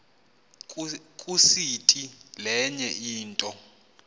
kusiti lenye into